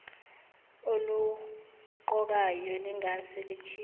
oluqokayo lingase likhishwe